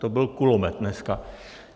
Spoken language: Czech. To byl kulomet dneska.